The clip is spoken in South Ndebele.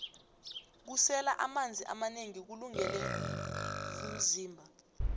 kusela amanzi amanengi kulungele vmzimba